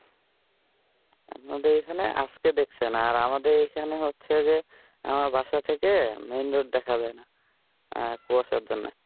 আপনাদের ঐখানে আজকে দেখছেন, আর আমাদের এইখানে হচ্ছে যে আমার বাসা থেকে মেন রোড দেখা যায় না কুয়াশার জন্য,